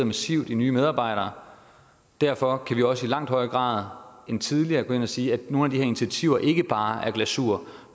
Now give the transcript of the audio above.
massivt i nye medarbejdere derfor kan vi også i langt højere grad end tidligere gå ind og sige at nogle af de her initiativer ikke bare er glasur